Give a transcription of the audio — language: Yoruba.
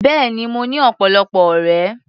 Bẹ́ẹ̀ni, mo ní ọ̀pọ̀lọpọ̀ ọ̀rẹ́.